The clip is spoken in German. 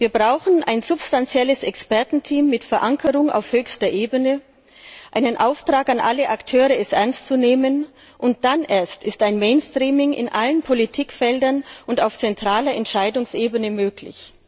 Wir brauchen ein substanzielles Expertenteam mit Verankerung auf höchster Ebene, einen Auftrag an alle Akteure, es ernst zu nehmen, und dann erst ist ein Mainstreaming in allen Politikfeldern und auf zentraler Entscheidungsebene möglich.